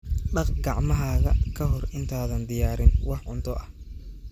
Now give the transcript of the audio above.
Dhaq gacmahaaga ka hor intaadan diyaarin wax cunto ah.